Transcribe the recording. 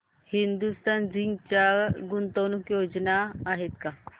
Hindustan Zinc च्या गुंतवणूक योजना आहेत का